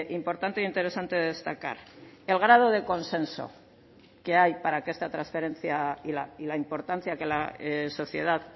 importante e interesante destacar el grado de consenso que hay para que esta transferencia y la importancia que la sociedad